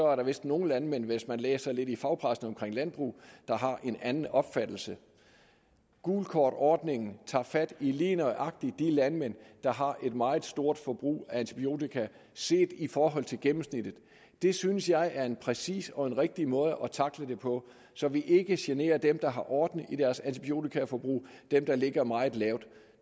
er der vist nogle landmænd hvis man læser lidt i fagpressen omkring landbrug der har en anden opfattelse gult kort ordningen tager fat i lige nøjagtig de landmænd der har et meget stort forbrug af antibiotika set i forhold til gennemsnittet det synes jeg er en præcis og rigtig måde at tackle det på så vi ikke generer dem der har orden i deres antibiotikaforbrug dem der ligger meget lavt